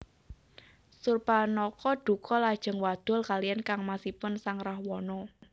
Surpanakha duka lajeng wadul kaliyan kangmasipun sang Rahwana